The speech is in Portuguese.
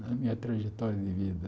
na minha trajetória de vida.